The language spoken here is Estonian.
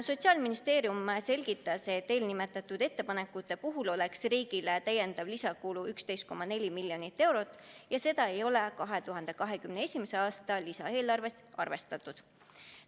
Sotsiaalministeerium selgitas, et nende ettepanekute heakskiitmise korral oleks riigile täiendav kulu 11,4 miljonit eurot ja seda ei ole 2021. aasta lisaeelarves arvestatud.